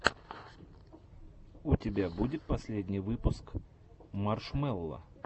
у тебя будет последний выпуск маршмелло